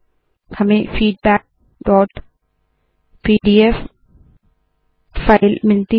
हमें feedbackपीडीएफ फाइल मिलती है